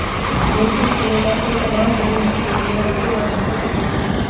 Bhojpuri cinema के तमाम बड़ी हस्तियों ने उनके बर्थडे पर शिरकत की